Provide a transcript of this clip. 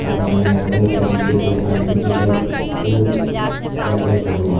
दुकान में कई तरीके के आर्टिफिशियल फूल रखे हुए हैं।